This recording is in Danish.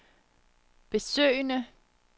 besøgende